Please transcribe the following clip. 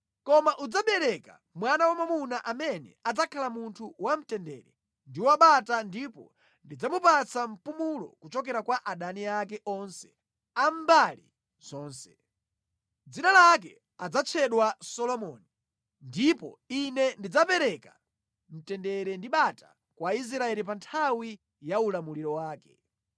Koma udzabala mwana wamwamuna amene adzakhala munthu wamtendere ndi wabata ndipo ndidzamupatsa mpumulo kuchokera kwa adani ake onse a mbali zonse. Dzina lake adzatchedwa Solomoni ndipo Ine ndidzapereka mtendere ndi bata kwa Israeli pa nthawi ya ulamuliro wake.